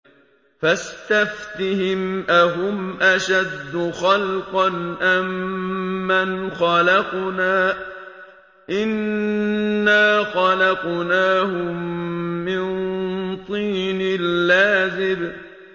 فَاسْتَفْتِهِمْ أَهُمْ أَشَدُّ خَلْقًا أَم مَّنْ خَلَقْنَا ۚ إِنَّا خَلَقْنَاهُم مِّن طِينٍ لَّازِبٍ